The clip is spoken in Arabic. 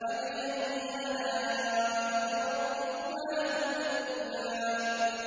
فَبِأَيِّ آلَاءِ رَبِّكُمَا تُكَذِّبَانِ